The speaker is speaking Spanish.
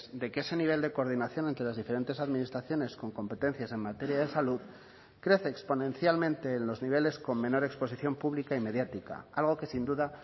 de que ese nivel de coordinación entre las diferentes administraciones con competencias en materia de salud crece exponencialmente en los niveles con menor exposición pública y mediática algo que sin duda